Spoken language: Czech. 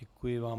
Děkuji vám.